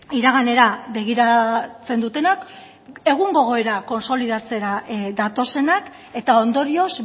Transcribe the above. iraganera begiratzen dutenak egungo egoera kontsolidatzera datozenak eta ondorioz